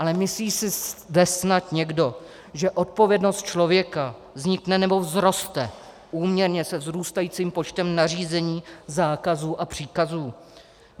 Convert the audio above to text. Ale myslí si zde snad někdo, že odpovědnost člověka vznikne nebo vzroste úměrně se vzrůstajícím počtem nařízení, zákazů a příkazů?